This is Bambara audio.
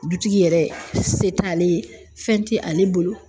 Dutigi yɛrɛ, se t'ale ye , fɛn tɛ ale bolo!